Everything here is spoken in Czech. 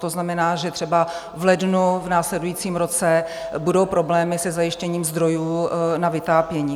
To znamená, že třeba v lednu, v následujícím roce, budou problémy se zajištěním zdrojů na vytápění.